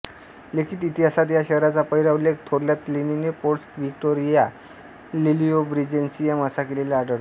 लिखित इतिहासात या शहराचा पहिला उल्लेख थोरल्या प्लिनीने पोर्टस व्हिक्टोरिए लुलियोब्रिजेन्सियम असा केलेला आढळतो